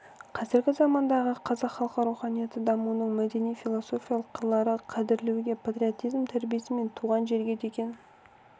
қазіргі замандағы қазақ халқы руханияты дамуының мәдени-философиялық қырлары қадірлеуге патриотизм тәрбиесі мен туған жерге деген